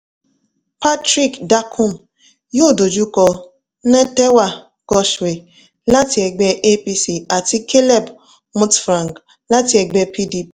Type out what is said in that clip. patrick dakum yóò dojú kọ nentawe goshwe láti ẹgbẹ́ apc àti caleb mutfwang láti ẹgbẹ́ pdp